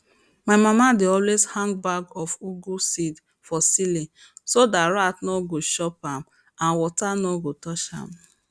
my mama dey always hang bag of ugu seed for ceiling so dat rat nor go chop am and water nor go touch am